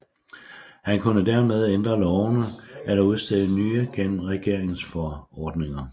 Han kunne dermed ændre lovene eller udstede nye gennem regeringsforordninger